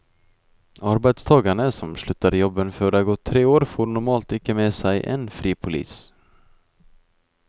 Arbeidstagere som slutter i jobben før det er gått tre år, får normalt ikke med seg en fripolise.